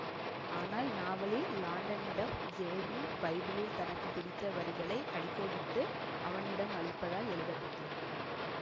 ஆனால் நாவலில் லாண்டனிடம் ஜேமீ பைபிளில் தனக்கு பிடித்த வரிகளை அடிக்கோட்டு அவனிடம் அளிப்பதாக எழுத பட்டிருந்தது